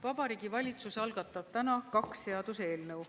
Vabariigi Valitsus algatab täna kaks seaduseelnõu.